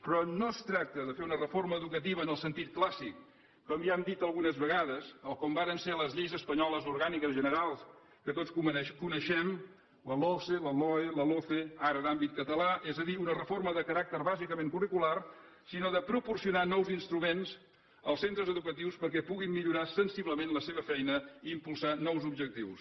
però no es tracta de fer una reforma educativa en el sentit clàssic com ja hem dit algunes vegades o com varen ser les lleis espanyoles orgàniques generals que tots coneixem la logse la loe la loce ara d’àmbit català és a dir una reforma de caràcter bàsicament curricular sinó de proporcionar nous instruments als centres educatius perquè puguin millorar sensiblement la seva feina i impulsar nous objectius